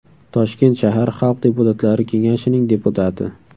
Toshkent shahar Xalq deputatlari kengashining deputati.